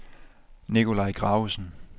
Nicolai Gravesen